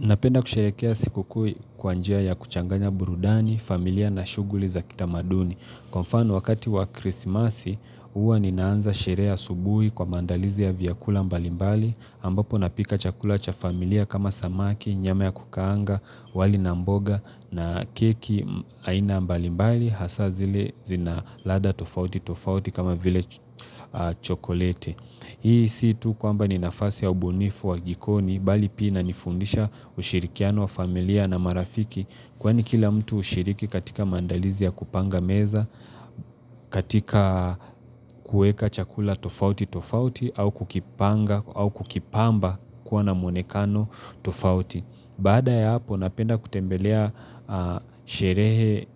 Napenda kusherekea siku kuu kwa njia ya kuchanganya burudani, familia na shughuli za kitamaduni. Kwa mfano, wakati wa krismasi, huwa ninaanza sherehe asubuhi kwa mandalizi ya vyakula mbalimbali, ambapo napika chakula cha familia kama samaki, nyama ya kukaanga, wali na mboga, na keki aina mbalimbali, hasa zile zina ladha tofauti tofauti kama vile chokoleti. Hii si tu kwamba ni nafasi ya ubunifu wa jikoni bali pia inanifundisha ushirikiano wa familia na marafiki kwani kila mtu hushiriki katika mandalizi ya kupanga meza, katika kueka chakula tofauti tofauti au kukipanga au kukipamba kuwa na mwonekano tofauti. Baada ya hapo, napenda kutembelea sherehe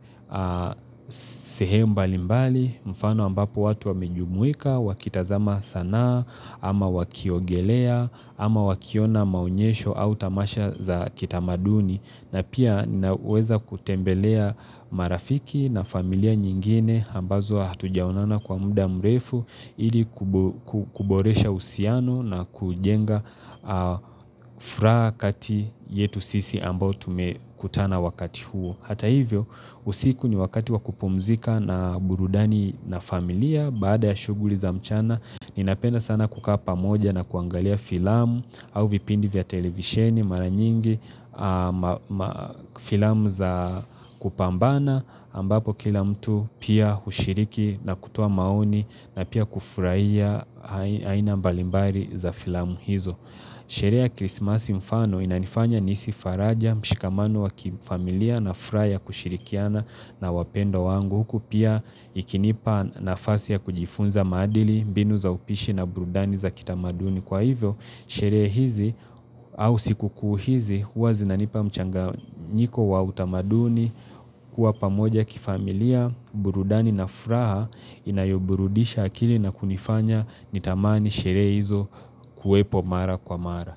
sehemu mbali mbali mfano ambapo watu wamejumuika, wakitazama sanaa, ama wakiogelea, ama wakiona maonyesho au tamasha za kitamaduni. Na pia ninaweza kutembelea marafiki na familia nyingine ambazo hatujaonana kwa muda mrefu ili kuboresha uhusiano na kujenga furaha kati yetu sisi ambao tume kutana wakati huo. Hata hivyo usiku ni wakati wa kupumzika na burudani na familia baada ya shughuli za mchana Ninapenda sana kukaa pamoja na kuangalia filamu au vipindi vya televisheni mara nyingi Filamu za kupambana ambapo kila mtu pia hushiriki na kutoa maoni na pia kufurahia aina mbalimbali za filamu hizo Sherehe ya krismasi mfano inanifanya nihisi faraja mshikamano wa kifamilia na furaha ya kushirikiana na wapendwa wangu huku pia ikinipa nafasi ya kujifunza madili, mbinu za upishi na burudani za kitamaduni. Kwa hivyo, sherehe hizi au siku kuu hizi, huwa zinanipa mchanganyiko wa utamaduni, huwa pamoja kifamilia, burudani na furaha, inayoburudisha akili na kunifanya nitamani sherehe hizo kuwepo mara kwa mara.